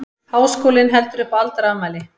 Háskólinn heldur upp á aldarafmæli